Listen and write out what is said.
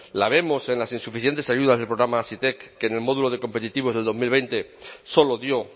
la vemos en las insuficientes ayudas del programa hazitek que en el módulo de competitivos del dos mil veinte solo dio